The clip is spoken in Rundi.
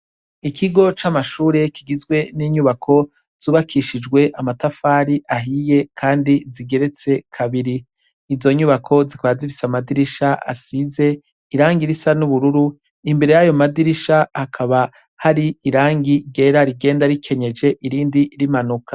Ikigo c'amashure kigizwe n'inyubako zubakishijwe amatafari ahiye kandi zigeretse kabiri, izonyubako zikaba zifise amadirisha asize irangi risa n'ubururu, imbere yayo madirisha hakaba hari iranfi ryera rigenda rikenyeje irindi rimanuka.